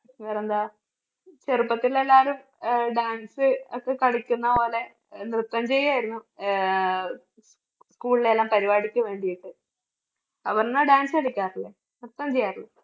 ഞാനെന്താ ചെറുപ്പത്തില് എല്ലാവരും അഹ് dance ഒക്കെ കളിക്കുന്ന പോലെ നൃത്തം ചെയ്യായിരുന്നു. ആഹ് school ലെല്ലാം പരിപാടിക്ക് വേണ്ടിയിട്ട് അപർണ dance കളിക്കാറില്ലേ? നൃത്തം ചെയ്യാറില്